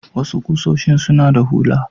Wasu ƙusoshin suna da hula.